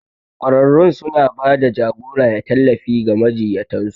Ƙwararrun suna ba da jagora da tallafi ga majiyyatan su.